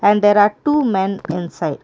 and there are two men inside.